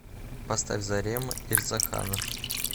поставь зарема ирзаханов